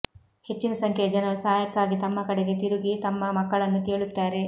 ಹೆಚ್ಚಿನ ಸಂಖ್ಯೆಯ ಜನರು ಸಹಾಯಕ್ಕಾಗಿ ತಮ್ಮ ಕಡೆಗೆ ತಿರುಗಿ ತಮ್ಮ ಮಕ್ಕಳನ್ನು ಕೇಳುತ್ತಾರೆ